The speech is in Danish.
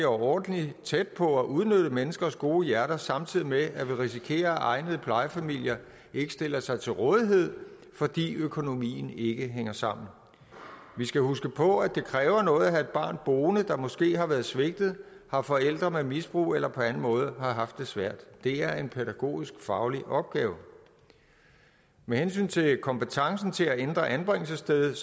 overordentlig tæt på at udnytte menneskers gode hjerter samtidig med at vi risikerer at egnede plejefamilier ikke stiller sig til rådighed fordi økonomien ikke hænger sammen vi skal huske på at det kræver noget at have et barn boende der måske har været svigtet har forældre med misbrug eller på anden måde har haft det svært det er en pædagogisk faglig opgave med hensyn til kompetencen til at ændre anbringelsesstedet